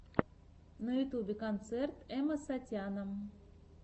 на ютьюбе концерт эмэсатяна